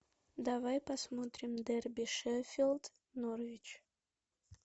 давай посмотрим дерби шеффилд норвич